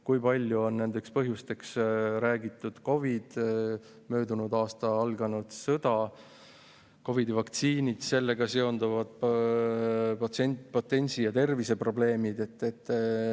Kui palju on põhjustanud palju räägitud COVID, möödunud aastal alanud sõda ning COVID-i vaktsiinid ja nendega seonduvad potentsi- ja terviseprobleemid?